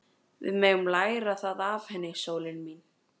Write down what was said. Við megum læra það af henni, sólin mín.